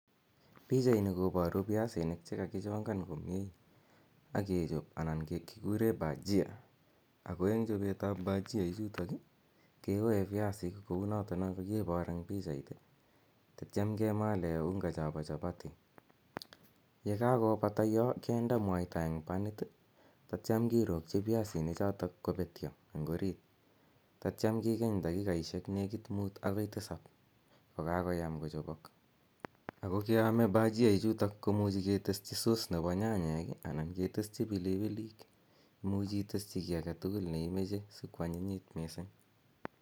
Pichani koparu piasinik che kakichongan komye ak kechop anan kikure bhajia. Ako eng' chopet ap bhajia ichutochu i, kewae piasik kou notono kakipar eng' pichait tatiam kemale unga chapa chapati. Ye kakopata ya kinde mwaita en panit tatiam kirokchi piasichotok mwaita kopekchi orit tatiam kikeny dakikasishek nekit mut akoi tisap ko kakoyam kicher. Ako kemae bhajia ichutok ko muchi keteschi sauce nepo nyanyek anan keteschi pilipilik. Imuchi iteschi ki age tugul ne imache asiko anyinyit missing'.